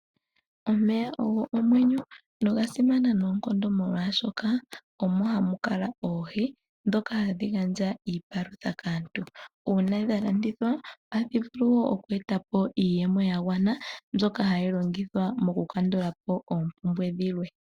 Omeya ogo omwenyo noga simana noonkondo molwaashoka omo hamu kala oohi dhoka hadhi gandja iipalutha kaantu uuna dhalandithwa ohadhi vulu woo oku etapo iiyemo yagwana mbyoka hayi longithwa okukandagulapo oompumbwe dhilwe.